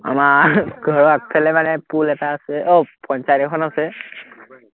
আমাৰ ঘৰৰ আগফালে মানে পুল এটা আছে আহ পঞ্চায়ত এখন আছে